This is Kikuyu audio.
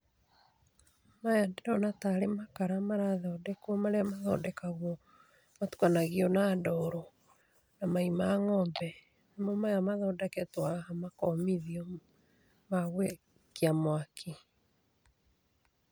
Maya ndĩrona tarĩ makara marathondekwo marĩa mathondekagwo matukanagio na ndoro na mai ma ng'ombe. Nĩmo maya mathondeketwo haha makomithia ma gũakia mwaki.